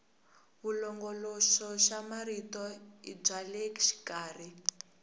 vulongoloxamarito i bya le xikarhi